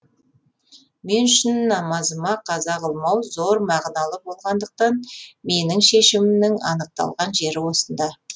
мен үшін намазыма қаза қылмау зор мағыналы болғандықтан менің шешімімнің анықталған жері осында